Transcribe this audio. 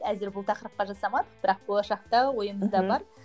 әзір бұл тақырыпқа жасамадық бірақ болашақта ойымызда бар